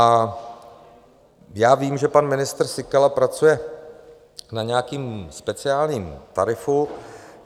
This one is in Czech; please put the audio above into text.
A já vím, že pan ministr Síkela pracuje na nějakém speciálním tarifu.